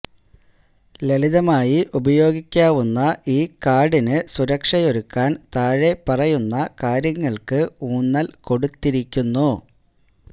ലളിതമായി ഉപയോഗിക്കാവുന്ന ഈ കാർഡിന് സുരക്ഷയൊരുക്കാൻ താഴെപ്പറയുന്ന കാര്യങ്ങൾക്ക് ഊന്നൽ കൊടുത്തിരിക്കുന്നു